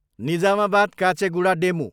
Nizamabad, Kacheguda DEMU